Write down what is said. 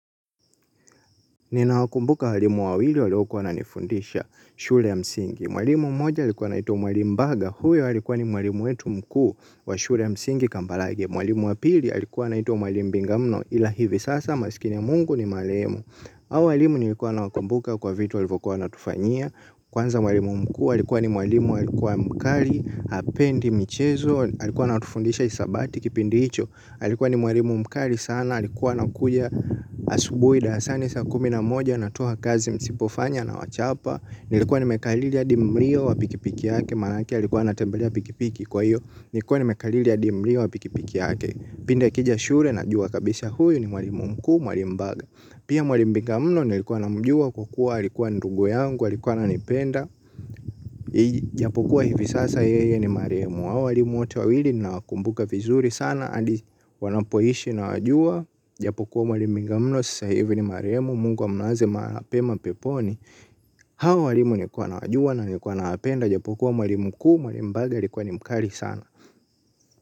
Nina wakumbuka walimu wawili waliokuwa wananifundisha shule ya msingi. Mwalimu moja alikuwa anaitwa mwalimu mbaga. Huyo alikuwa ni mwalimu wetu mkuu wa shule ya msingi kambalage. Mwalimu wa pili alikuwa anaitwa mwalimu mbingamnoi. Ila hivi sasa maskini wa mungu ni marehemu. Hawa walimu nilikuwa nawakumbuka kwa vitu walivyokuwa wanatufanyia. Kwanza walimu mkuu alikuwa ni walimu alikuwa mkali, hapendi, michezo. Alikuwa anatufundisha hisabati kipindi hicho. Alikuwa ni mwalimu mkali sana, alikuwa anakuja asubuhi darasani saa kumi na moja, anatoa kazi msipofanya anawachapa. Nilikuwa ni mekariri hadi mliyo wa pikipiki yake, manake alikuwa anatembelea pikipiki kwa hiyo. Nilikuwa nimekariri hadi mlio wa pikipiki yake, pindi akija shule najua kabisa huyu ni mwalimu mkuu, mwalimu mbaga. Pia mwalimu bengamno nilikuwa namjua kukua, alikuwa ndugu yangu, alikuwa ananipenda. Japokuwa hivi sasa yeye ni marehemu. Hawa walimu wote wawili nawakumbuka vizuri sana hadi wanapoishi nawajua. Japokuwa mwalimu lingamno sasa hivi ni marehemu Mungu amlaze mahali pema peponi. Hawa walimu nilikuwa nawajua na nilikuwa nawapenda ijapokuwa mwali mkuu mwalimu mbage, alikuwa ni mkali sana.